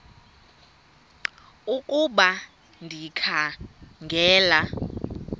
ukuba ndikha ngela